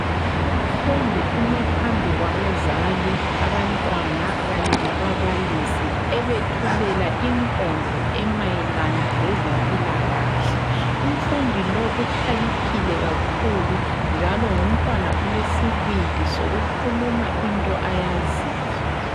Umfundi ume phambi kwabazali, abantwana Kanye lababalisi ebethulela inkondlo emayelana lezempilakahle. Umfundi lowu ukhaliphile kakhulu njalo ngumntwana olesibindi sokukhuluma into ayaziyo.